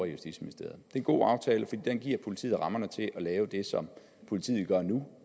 justitsministeriet det er en god aftale fordi den giver politiet rammerne til at lave det som politiet gør nu